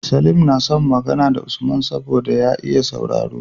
Salim na son Magana da Usman saboda ya iya sauraro